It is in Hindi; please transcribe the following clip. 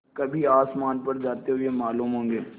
कभी आसमान पर जाते हुए मालूम होंगे